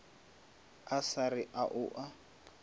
a sa re o a